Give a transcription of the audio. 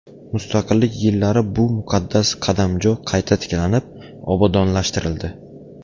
Mustaqillik yillari bu muqaddas qadamjo qayta tiklanib, obodonlashtirildi.